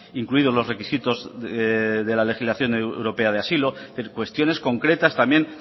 incluido los requisitos de la legislación europea de asilo es decir cuestiones concretas también